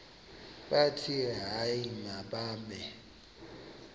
bathi hayi mababe